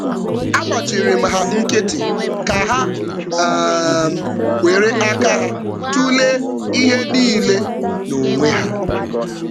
Agbachịrịm ha nkịtị ka ha um wéré aka ha tulee ihe nile n'onwe ha.